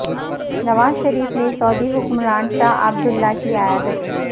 نواز شریف نے سعودی حکمراں شاہ عبداللہ کی عیادت کی